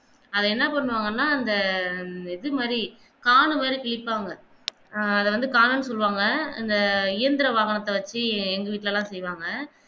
அத என்னபண்ணுவாங்கன்னா அந்த இது மாதி காண மாதி கிளிப்பாங்க அத வந்து காணணு சொல்லுவாங்க அந்த இயந்திர வாகனத்தை வெச்சி எங்க வீட்ல எல்லாம் சைவாங்க